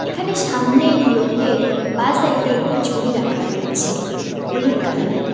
এখানে সামনের লোকের বাঁ সাইডে একটি ঝুড়ি রাখা রয়েছে হলুদ কালারের।